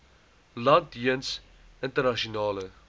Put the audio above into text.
land jeens internasionale